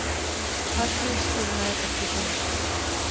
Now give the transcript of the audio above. Færri skilnaðir eftir hrun